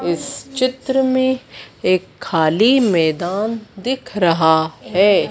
इस चित्र में एक खाली मैदान दिख रहा है।